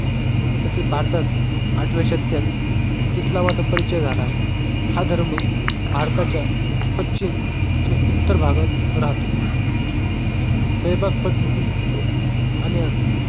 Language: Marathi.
तसेच भारतात आठव्या शतकात ईस्लामाचा परिचय झाला आहे. हा धर्म भारताच्या पश्चिम आणि उत्तर भागात राहतो. स्वयंपाक पद्धती आणि अन्न.